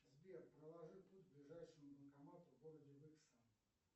сбер проложи путь к ближайшему банкомату в городе выкса